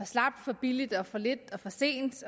slapt for billigt for lidt og for sent